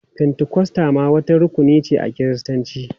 Fentikosta ma wata rukuni ce a Kiristanci.